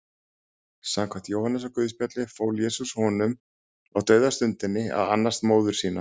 Samkvæmt Jóhannesarguðspjalli fól Jesús honum á dauðastundinni að annast móður sína.